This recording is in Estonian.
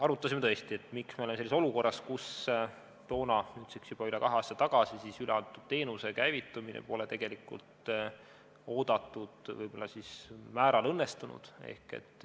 Arutasime tõesti, miks me oleme sellises olukorras, et nüüdseks juba üle kahe aasta tagasi üleantud teenuse käivitumine pole tegelikult oodatud määral õnnestunud.